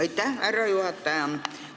Aitäh, härra juhataja!